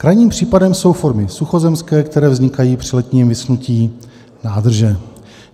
Krajním případem jsou formy suchozemské, které vznikají při letním vyschnutí nádrže.